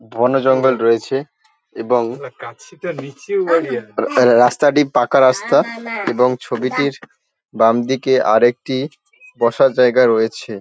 বন জঙ্গল রয়েছে এবং রা রাস্তাটি পাকা রাস্তা এবং ছবিটির বামদিকে আরেকটি বসার জায়গা রয়েছে।